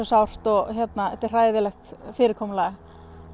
sárt og þetta er hræðilegt fyrirkomulag